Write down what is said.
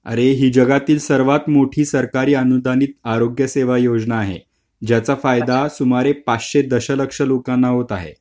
अरे हि जगातील सर्वात मोठी सरकारी अनुदानित आरोग्य सेवा योजना आहे. ज्याचा फायदा सुमारे पाचशे दस लक्ष लोकांना होत आहे .